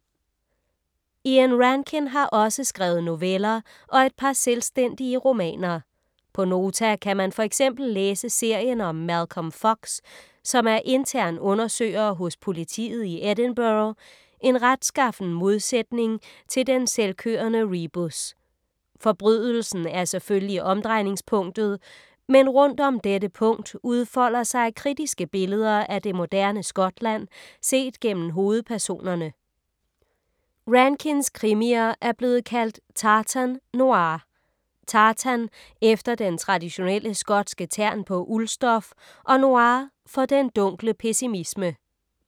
Ian Rankin har også skrevet noveller og et par selvstændige romaner. På Nota kan man for eksempel læse serien om Malcolm Fox, som er intern undersøger hos politiet i Edinburgh, en retskaffen modsætning til den selvkørende Rebus. Forbrydelsen er selvfølgelig omdrejningspunktet, men rundt om dette punkt udfolder sig kritiske billeder af det moderne Skotland, set gennem hovedpersonerne. Rankins krimier er blevet kaldt tartan noir. Tartan efter den traditionelle skotske tern på uldstof og noir for den dunkle pessimisme.